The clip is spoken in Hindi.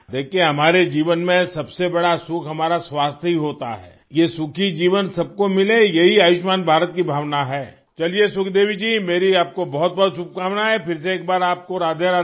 देखिये हमारे जीवन में सबसे बड़ा सुख हमारा स्वास्थ्य ही होता है ये सुखी जीवन सबको मिले यही आयुष्मान भारत की भावना है चलिए सुखदेवी जी मेरी आप को बहुत बहुत शुभकामनाएँ फिर से एक बार आप को राधेराधे